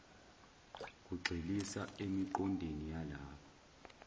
kugxilisa emiqondweni yalaba